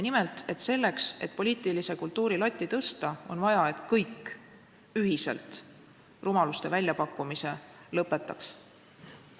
Nimelt, selleks et poliitilise kultuuri latti tõsta, on vaja, et kõik ühiselt rumaluste väljapakkumise lõpetaks.